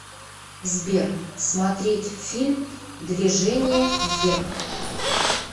сбер смотреть фильм двежение вверх